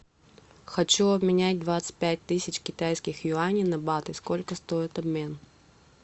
хочу обменять двадцать пять тысяч китайских юаней на баты сколько стоит обмен